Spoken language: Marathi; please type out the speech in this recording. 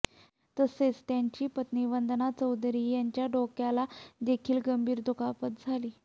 तसेच त्यांची पत्नी वंदना चौधरी यांच्या डोक्याला देखील गंभीर दुखापत झाली